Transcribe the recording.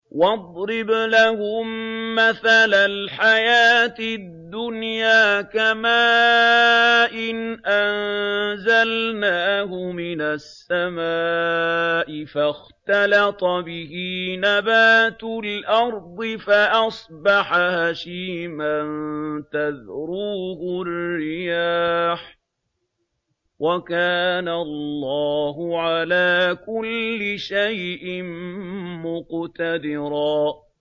وَاضْرِبْ لَهُم مَّثَلَ الْحَيَاةِ الدُّنْيَا كَمَاءٍ أَنزَلْنَاهُ مِنَ السَّمَاءِ فَاخْتَلَطَ بِهِ نَبَاتُ الْأَرْضِ فَأَصْبَحَ هَشِيمًا تَذْرُوهُ الرِّيَاحُ ۗ وَكَانَ اللَّهُ عَلَىٰ كُلِّ شَيْءٍ مُّقْتَدِرًا